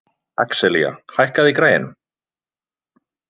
Axelía, hækkaðu í græjunum.